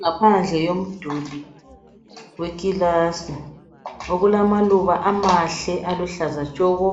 Ngaphandle yomduli wekilasi okulamaluba amahle aluhlaza tshoko .